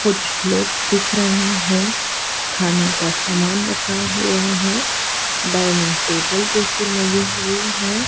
कुछ लोग दिख रहे हैं खाने का सामान रखा हुआ है डाइनिंग टेबल जैसी लगी हुई है।